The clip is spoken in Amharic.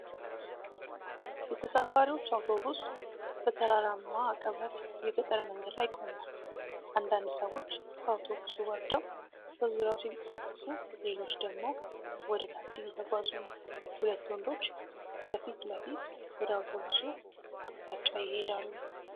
የተሳፋሪዎች አውቶቡስ በተራራማ አቀበት የገጠር መንገድ ላይ ቆሟል። አንዳንድ ሰዎች ከአውቶቡሱ ወርደው በዙሪያው ሲንቀሳቀሱ፣ ሌሎች ደግሞ ወደ ታች እየተጓዙ ነው። ሁለት ወንዶች በፊት ለፊት ወደ አውቶቡሱ አቅጣጫ ይሄዳሉ።